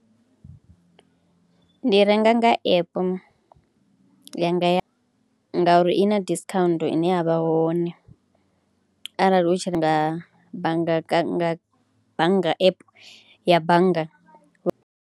Ndi renga nga app ya nga ngauri i na discount ine ya vha hone arali u tshi renga bannga app ya bannga.